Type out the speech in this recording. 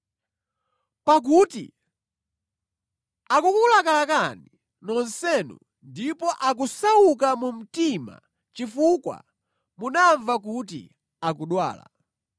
Pakuti akukulakalakani nonsenu ndipo akusauka mu mtima chifukwa munamva kuti akudwala.